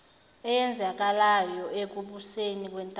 eyenzekalayo ekubuseni kwentando